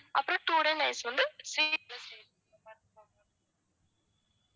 அப்பறம் two days night வந்து ஸ்ரீ stay பண்றது மாதிரி இருக்கும் ma'am